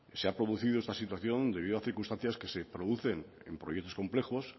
se ha producido esta situación debido a circunstancias que se producen en proyectos complejos